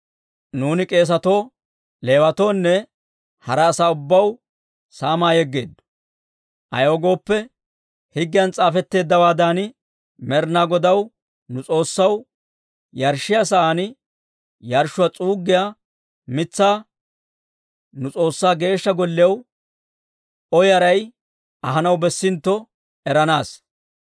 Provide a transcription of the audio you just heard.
«Nuuni k'eesatoo, Leewatoonne hara asaa ubbaw saamaa yeggeeddo. Ayaw gooppe, higgiyan s'aafetteeddawaadan Med'inaa Godaw, nu S'oossaw, yarshshiyaa sa'aan yarshshuwaa s'uuggiyaa mitsaa nu S'oossaa Geeshsha Golliyaw O yaray ahanaw bessintto eranaassa.